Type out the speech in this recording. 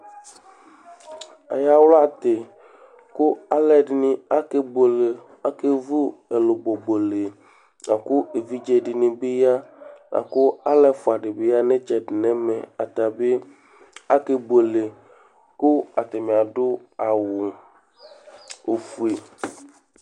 Ayawlatì kʋ aluɛɖìŋí akebʋele, akevʋ ɛlʋbɔ bʋele Akʋ evidze ɖi bi ya akʋ alu ɛfʋa ɖìbí ya ŋu itsɛɖi ŋu ɛmɛ Atabi akebʋele kʋ ataŋi aɖu awu ɔfʋe